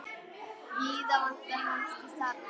Víða vantar fólk til starfa.